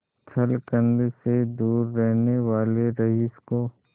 छल छंद से दूर रहने वाले रईस को